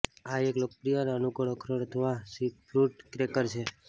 આ એક લોકપ્રિય અને અનુકૂળ અખરોટ અથવા સીફૂડ ક્રેકર છે